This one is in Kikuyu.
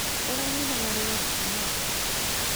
ũronire marũa kuma kũ?